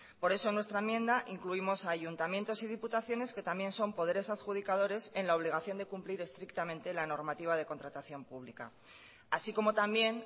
por eso en nuestra enmienda incluimos a ayuntamientos y diputaciones que también son poderes adjudicadores en la obligación de cumplir estrictamente la normativa de contratación pública así como también